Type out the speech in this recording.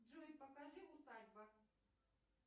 джой покажи усадьба